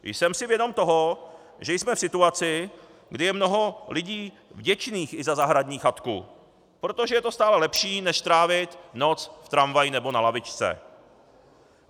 Jsem si vědom toho, že jsme v situaci, kdy je mnoho lidí vděčných i za zahradní chatku, protože je to stále lepší než trávit noc v tramvaji nebo na lavičce.